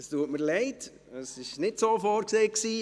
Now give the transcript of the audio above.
Es tut mir leid, es war nicht so vorgesehen.